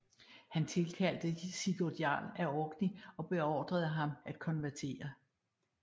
Han tilkaldte Sigurd Jarl af Orkney og beordrede ham at konvertere